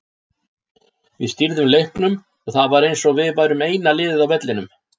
Við stýrðum leiknum og það var eins og við værum eina liðið á vellinum.